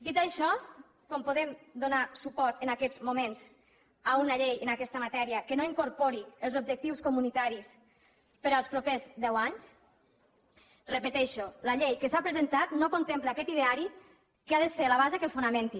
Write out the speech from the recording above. dit això com podem donar suport en aquests moments a una llei en aquesta matèria que no incorpori els objectius comunitaris per als propers deu anys ho repeteixo la llei que s’ha presentat no contempla aquest ideari que ha de ser la base que el fonamenti